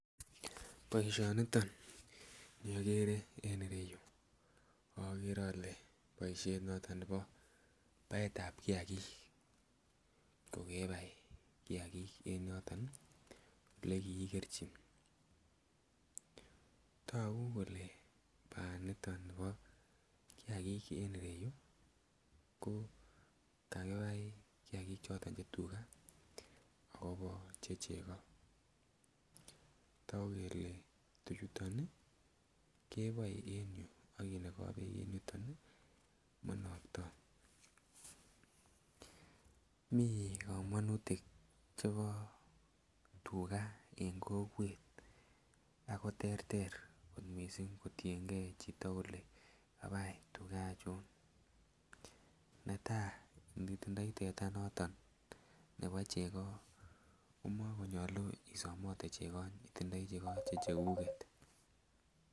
Boishoni niton ni ogere en ireyu, ogere ole boishet noton nebo baet ab kiyakik kogebai kiyakik en yoton ole kiikerji togu kole baani niton nebo kiyakik en ireyu yuu ko kakibai kiyakik choton che tuga akobo che chego, togu kelee tuchuton ii keboen en yuu aki nogoo beek en yuton monokto. Mii komonutik chebo tuga en kokwet ago terter kot missing kotiengee chito kolee kabai tuga achon. Netaa nitindoi teta noton nebo chego ko mokonyuluu isomote chego itindoi chego che cheguget.